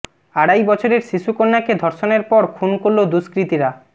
আড়াই বছরের শিশু কন্যাকে ধর্ষণের পর খুন করল দুষ্কৃতীরা